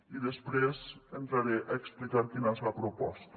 i després entraré a explicar quina és la proposta